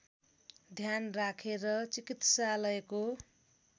ध्यान राखेर चिकित्सालयको